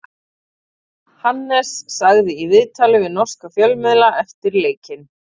Hannes sagði í viðtali við norska fjölmiðla eftir leikinn: